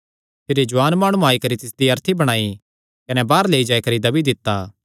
भिरी जुआन माणुआं आई करी तिसदी अर्थी बणाई कने बाहर लेई जाई करी दब्बी दित्ता